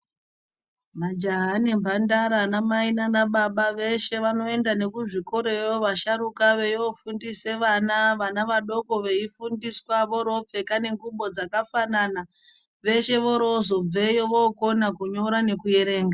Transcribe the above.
Majaha nemhandara, anamai nanababa veshe vanoenda nekuzvikoroyo vasharuka veiofundise vana, vana vadoko veifundiswa voropfeka nengubo dzakafanana veshe vorozobveyo vorokona kunyora nekuerenga.